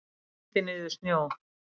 Kyngdi niður snjó.